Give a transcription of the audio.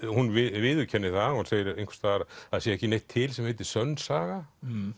hún viðurkennir það hún segir það einhvers staðar að það sé ekki neitt til sem heitir sönn saga